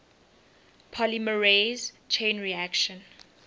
polymerase chain reaction